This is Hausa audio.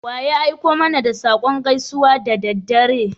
Wa ya aiko mana da saƙon gaisuwa da daddare?